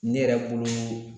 Ne yɛrɛ bolo